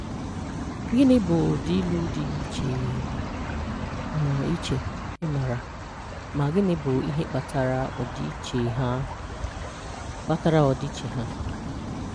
Gịnị bụ ụdị ilu dị iche um iche ị maara, ma gịnị bụ ihe kpatara ọdịiche ha? kpatara ọdịiche ha?